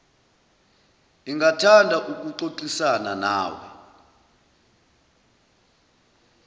ingathanda ukuxoxisana nawe